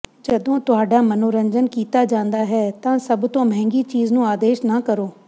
ਜਦੋਂ ਤੁਹਾਡਾ ਮਨੋਰੰਜਨ ਕੀਤਾ ਜਾਂਦਾ ਹੈ ਤਾਂ ਸਭ ਤੋਂ ਮਹਿੰਗੀ ਚੀਜ਼ ਨੂੰ ਆਦੇਸ਼ ਨਾ ਕਰੋ